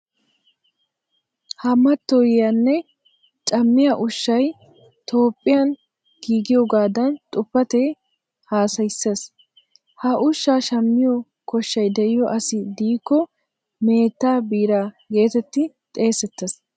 Ha mattoyiya nne cammiya ushshay Toophphiyan giigiyogaadan xuufetee hassayisses. Ha ushshaa shammiyo koshshay de"iyo asi diikko meettaa biiraa geetetti xeesettes.